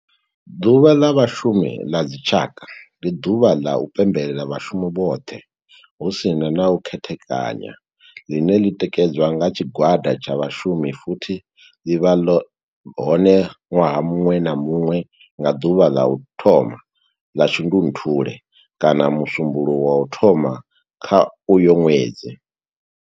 Ḓuvha la Vhashumi ḽa dzi tshaka, ndi duvha la u pembela vhashumi vhothe hu si na u khethekanya ḽine ḽi tikedzwa nga tshigwada tsha vhashumi futhi ḽi vha hone nwaha muṅwe na muṅwe nga duvha ḽa u thoma 1 ḽa Shundunthule kana musumbulowo wa u thoma kha uyo ṅwedzi.